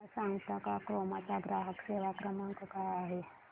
मला सांगता का क्रोमा चा ग्राहक सेवा क्रमांक काय आहे